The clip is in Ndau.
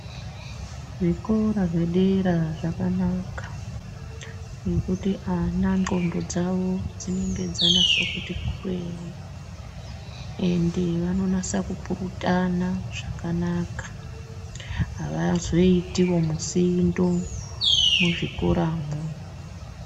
Zvikora zvadera zvakanaka, ngekuti ana ndxondo dzavo dzinenge dzanase kuti kwee, ende vanonasa kupurutana zvakanaka. Avazoitiwo musindo ,muzvikoramwo.